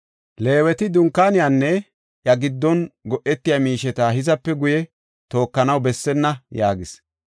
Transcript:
Leeweti Dunkaaniyanne iya giddon go7etiya miisheta hizape guye tookanaw bessenna” yaagis.